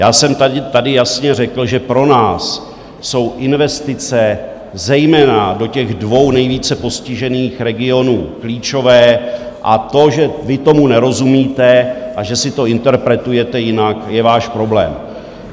Já jsem tady jasně řekl, že pro nás jsou investice zejména do těch dvou nejvíce postižených regionů klíčové, a to, že vy tomu nerozumíte a že si to interpretujete jinak, je váš problém.